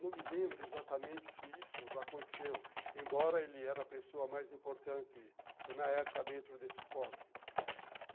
Não me lembro exatamente se isso aconteceu, embora ele era a pessoa mais importante na época dentro desse esporte.